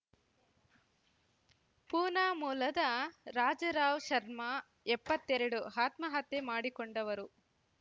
ಪೂನಾ ಮೂಲದ ರಾಜಾರಾವ್ ಶರ್ಮ ಎಪ್ಪತ್ತೆರಡು ಆತ್ಮಹತ್ಯೆ ಮಾಡಿಕೊಂಡವರು